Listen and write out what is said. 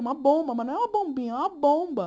Uma bomba, mas não é uma bombinha, é uma bomba.